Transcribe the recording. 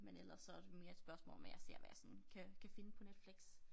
Men ellers så det mere et spørgsmål om at jeg ser hvad jeg sådan kan kan finde på Netflix